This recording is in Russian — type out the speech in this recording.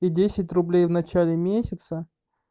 и десять рублей в начале месяца